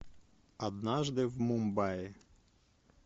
однажды в мумбаи